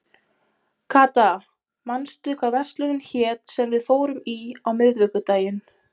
Kata, manstu hvað verslunin hét sem við fórum í á miðvikudaginn?